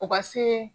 O ka se